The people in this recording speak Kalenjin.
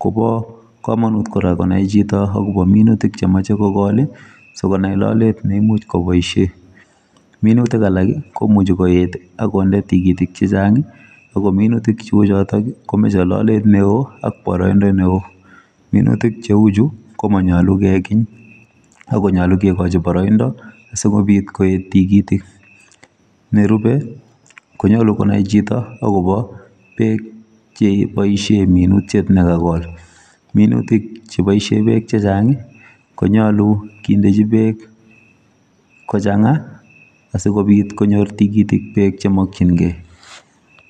kobo komonut kora konai chito akobo minutik chemache kogol, sikonai lolet ne imuch koboisie. Minutik alak, komuchi koet akonde tigitik chechang', ago minutik cheu chotok, komeche lolet neoo, ak boroindo neoo. Minutik cheu chuu, komanyolu kekiny, akonyolu kekochi boroindo, asikobit koet tigitik. Nerube, konyolu konai chito akobo beek che boisie minutiet ne kagol. Minutik che boisie beek chechang', konyolu kindechi beek kochang'a, asikobit konyor tigitik beek che makchinkeiy